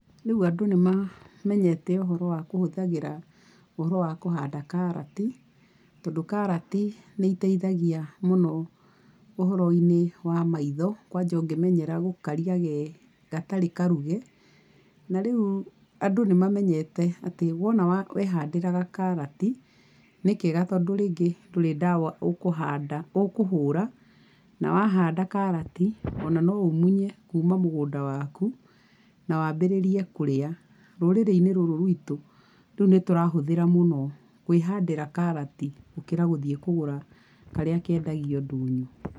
Rĩũ andũ nĩ mamenyete ũhoro wa kũhũthagĩra, ũhoro wa kũhanda karati, tondũ karati nĩ iteithagia mũno ũhoroinĩ wa maitho, kwanja ũngĩmenyera gũkaria ge gatarĩ karuge, na rĩu, andũ nĩ mamenyete atĩ wona wehandĩra gakarati, nĩ kega tondũ rĩngĩ ndũrĩ ndawa ũkũhanda ũkũhũra, na wahanda karati, ona no ũmunye kuma mũgũnda waku, na wambĩrĩrie kũrĩa. Rũrĩrĩinĩ ruru rwitũ, rĩu nĩ tũrahũthĩra mũno kwĩhandĩra karati, gũkĩra gũthiĩ kũgũra karĩa kendagio ndũnyũ.